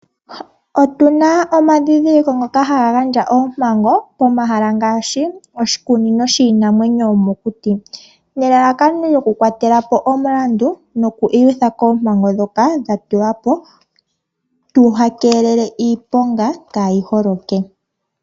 Otuna omadhindhiliko ngoka haga gandja oompango pomahala ngaashi oshikunino shiinamwenyo yomokuti. Nelalakano oku kwatelapo omulandu noku iyutha koompango dhoka dha tulwa po. Tu keelele iiponga kaayi holoke